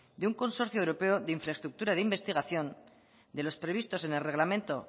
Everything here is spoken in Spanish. de un consorcio europeo de infraestructura de investigación de los previstos en el reglamento